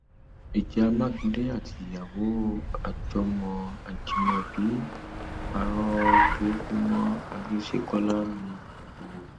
ìjà mákindé àtìyàwó àjọmọ ajímọbí um parọ burúkú mọ àrísékọlá ni um o